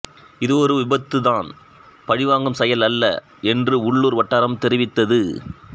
இது ஒரு விபத்துதான் பழிவாங்கும் செயல் அல்ல என்று உள்ளூர் வட்டாரம் தெரிவித்தது